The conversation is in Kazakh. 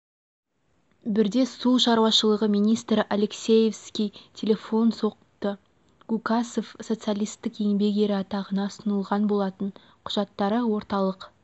бірде су шаруашылығы министрі алексеевский телефон соқты гукасов социалистік еңбек ері атағына ұсынылған болатын құжаттары орталық